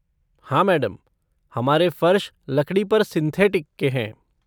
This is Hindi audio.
हाँ मैडम, हमारा फर्श लकड़ी पर सिंथेटिक के हैं।